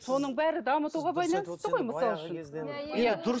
соның бәрі дамытуға байланысты ғой мысал үшін